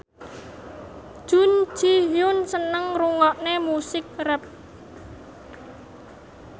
Jun Ji Hyun seneng ngrungokne musik rap